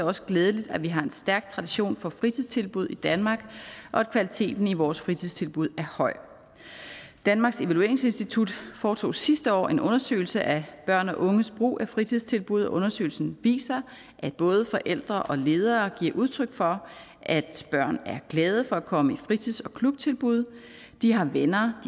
også glædeligt at vi har en stærk tradition for fritidstilbud i danmark og at kvaliteten i vores fritidstilbud er høj danmarks evalueringsinstitut foretog sidste år en undersøgelse af børn og unges brug af fritidstilbud og undersøgelsen viser at både forældre og ledere giver udtryk for at børn er glade for at komme i fritids og klubtilbud de har venner